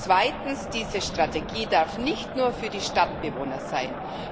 Zweitens Diese Strategie darf nicht nur für die Stadtbewohner sein.